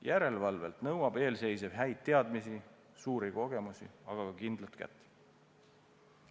Järelevalvelt nõuab eelseisnev häid teadmisi, suuri kogemusi, aga ka kindlat kätt.